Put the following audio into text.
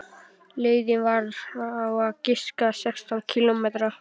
Leiðin var á að giska sextán kílómetrar.